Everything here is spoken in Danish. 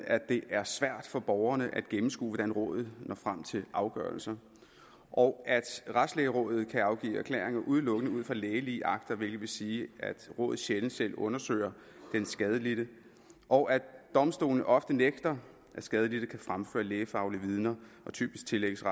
at det er svært for borgerne at gennemskue hvordan rådet når frem til afgørelser og at retslægerådet kan afgive erklæringer udelukkende ud fra lægelige akter hvilket vil sige at rådet sjældent selv undersøger den skadelidte og at domstolene ofte nægter at skadelidte kan fremføre lægefaglige vidner og typisk tillægges